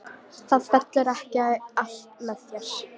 Það fellur ekki allt með þér.